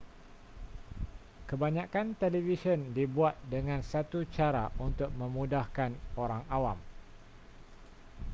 kebanyakan televisyen dibuat dengan satu cara untuk memudahkan orang awam